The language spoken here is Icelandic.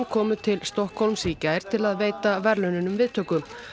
komu til Stokkhólms í gær til að veita verðlaununum viðtöku